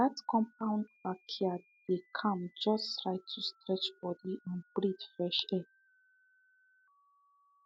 that compound backyard dey calm just right to stretch body and breathe fresh air